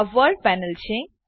આ world panel છે